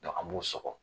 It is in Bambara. an b'u sɔgɔ